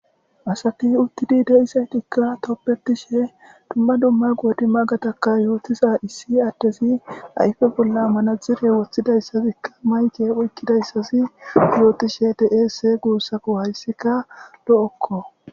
Asati utidi de'izaytika tobetishe dumma dumma qodimagataka yootiza issi adezi ayfe bolla manaxire wothizagsatika mic aykidaysazi yootishe de'ese guusuko, haysika lo'oko.